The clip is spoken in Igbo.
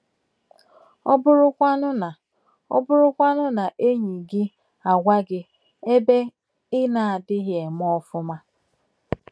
Ọ bụrụkwanụ na bụrụkwanụ na enyi gị agwa gị ebe ị na-adịghị eme ọfụma?